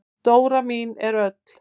Dóra mín er öll.